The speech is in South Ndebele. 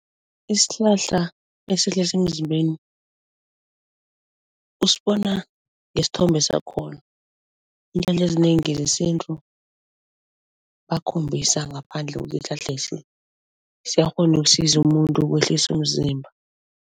Isihlahla usibona ngesithombe sakhona. Iintjalo ezinengi zesintu bakhombisa ngaphandle siyakghona ukusiza umuntu ukwehlisa umzimba.